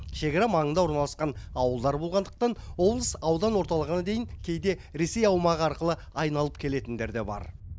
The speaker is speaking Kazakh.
шекара маңында орналасқан ауылдар болғандықтан облыс аудан орталығына кейде ресей аумағы арқылы айналып келетіндер де бар